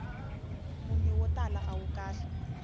munyu wo tala awu kahle